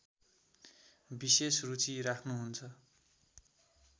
विशेष रुचि राख्‍नुहुन्छ